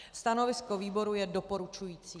Stanovisko výboru je doporučující.